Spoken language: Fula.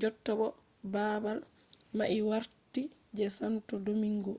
jotta bo babal mai warti je santo domingo